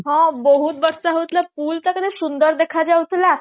ହଁ ବହୁତ ବର୍ଷା ହଉଥିଲା pool ଟା କେତେ ସୁନ୍ଦର ଦେଖା ଯାଉଥିଲା